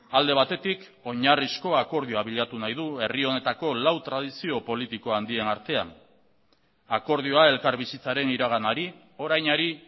alde batetik oinarrizko akordioa bilatu nahi du herri honetako lau tradizio politikohandien artean akordioa elkarbizitzaren iraganari orainari